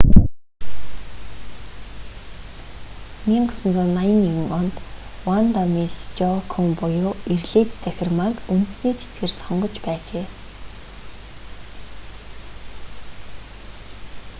1981 онд ванда мисс жоакуйм буюу эрлийз цахирмааг үндэсний цэцгээр сонгож байжээ